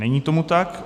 Není tomu tak.